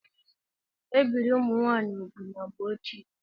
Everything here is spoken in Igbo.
Ebirì ụmụ nwaanyị úgwù na mgbe ochie.